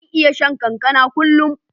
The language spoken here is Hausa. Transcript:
Zan iya shan kankana kullun.